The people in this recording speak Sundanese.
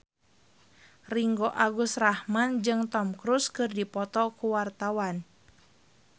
Ringgo Agus Rahman jeung Tom Cruise keur dipoto ku wartawan